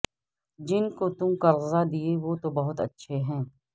جنکو تم قرضہ دیئے وہ تو بہت اچھے ہیں